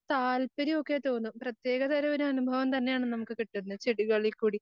താല്പര്യം ഒക്കെ തോന്നും പ്രത്യേകതരം ഒരനുഭവം തന്നെയാണ് കിട്ടുന്നത് ചെടികളിൽ കൂടി